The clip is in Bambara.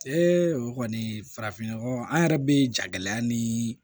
o kɔni farafinɲɔgɔn an yɛrɛ bɛ ja gɛlɛya nii